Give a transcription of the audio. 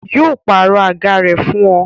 Yo pàrọ̀ àga rẹ fún ọ